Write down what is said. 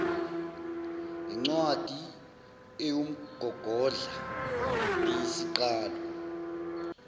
yincwadi ewumgogodla neyisiqalo